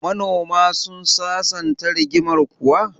Manoma sun sasanta rigimar kuwa?